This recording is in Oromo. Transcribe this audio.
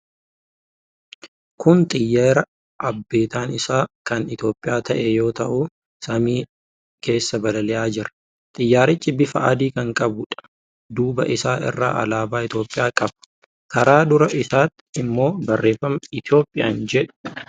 Kun xiyyeera abbentaan isaa kan Itiyoophiyaa ta'e yoo ta'u, samii keessa balali'aa jira. Xiyyaarichi bifa adii kan qabuudha. Duuba isaa irraa alaabaa Itiyoophiyaa qaba. Karaa dura isaatii immoo barreeffama 'Ethiopian' jedhu qaba.